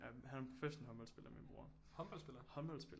Han er professionel håndboldspiller min bror